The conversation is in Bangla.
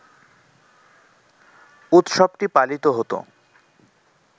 উৎসবটি পালিত হত